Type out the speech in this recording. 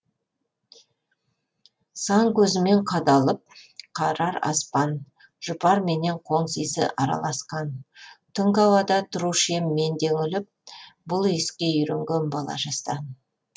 сан көзімен қадалып қарар аспан жұпар менен қоңсы иісі араласқан түнгі ауада тұрушы ем мен де үңіліп бұл иіске үйренген бала жастан